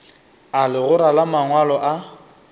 a legora la mangwalo a